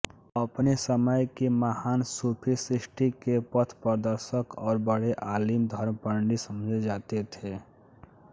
अपने समय के महान् सूफ़ी सृष्टि के पथप्रदर्शक और बड़े आलिम धर्मपंडित समझे जाते थे